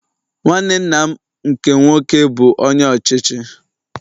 Nwanne nna m nkem nwoke bụ Onye Ọchịchị